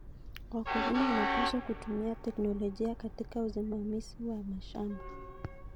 Wakulima wanapaswa kutumia teknolojia katika usimamizi wa mashamba.